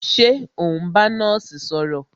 Ṣé o n bá nọ́ọ̀sì sọ̀rọ̀?